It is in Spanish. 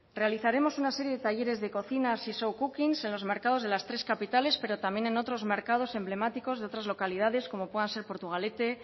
realizaremos una serie de talleres de cocinas y showcockings en los mercados de las tres capitales pero también en otros mercados emblemáticos de otras localidades como puedan ser portugalete